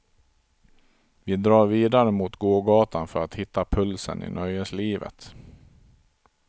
Vi drar vidare mot gågatan för att hitta pulsen i nöjeslivet.